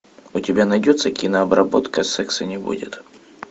у тебя найдется кинообработка секса не будет